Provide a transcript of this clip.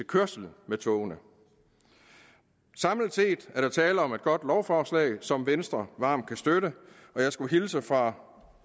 kørsel med togene samlet set er der tale om et godt lovforslag som venstre varmt kan støtte og jeg skulle hilse fra